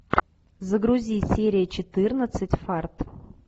загрузи серия четырнадцать фарт